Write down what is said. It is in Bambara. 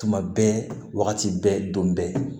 Tuma bɛɛ wagati bɛɛ don bɛɛ